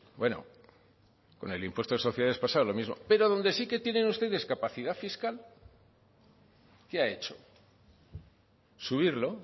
bueno con el impuesto de sociedades pasaba lo mismo pero donde sí que tienen ustedes capacidad fiscal qué ha hecho subirlo